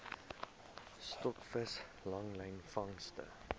stokvis langlyn vangste